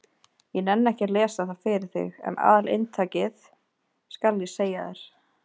Ég nenni ekki að lesa það fyrir þig en aðalinntakið skal ég segja þér.